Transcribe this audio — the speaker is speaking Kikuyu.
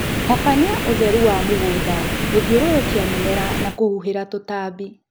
Tabania ũtheru wa mũgũnda, gũthiũrũrũkia mĩmera na kũhuhĩla tũtambi